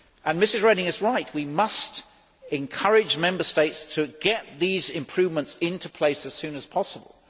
Mrs Reding is right we must encourage Member States to get these improvements in place as soon as possible.